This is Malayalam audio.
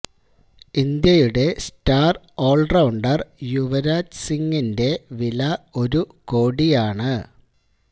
ഇന്ത്യയുടെ സ്റ്റാര് ഓള്റൌണ്ടര് യുവരാജ് സിങിന്റെ വില ഒരു കോടിയാണ്